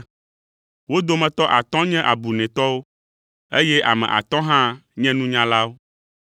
Wo dometɔ atɔ̃ nye abunɛtɔwo, eye ame atɔ̃ hã nye nunyalawo.